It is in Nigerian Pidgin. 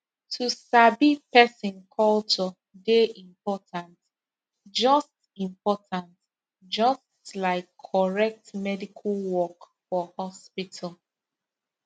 to sabi person culture dey important just important just like correct medical work for hospital